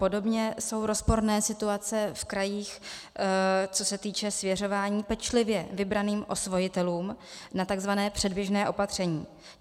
Podobně jsou rozporné situace v krajích, co se týče svěřování pečlivě vybraným osvojitelům na takzvané předběžné opatření.